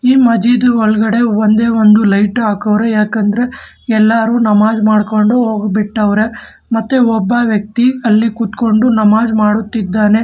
ಈ ಮಜಿದ್ ಒಳಗಡೆ ಒಂದೇ ಒಂದು ಲೈಟ್ ಹಾಕವ್ರೆ ಯಾಕಂದ್ರೆ ಎಲ್ಲರೂ ನಮಾಜ್ ಮಾಡ್ಕೊಂಡು ಹೋಗ್ಬಿಟ್ಟವ್ರೆ ಮತ್ತೆ ಒಬ್ಬ ವ್ಯಕ್ತಿ ಅಲ್ಲಿ ಕೂತ್ಕೊಂಡು ನಮಾಜ್ ಮಾಡುತ್ತಿದ್ದಾನೆ.